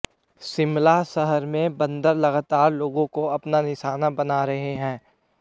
शिमला शहर में बंदर लगातार लोगों को अपना निशाना बना रहे हैं